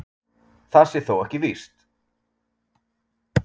Það sé þó ekki víst